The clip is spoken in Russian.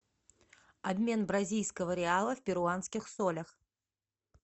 обмен бразильского реала в перуанских солях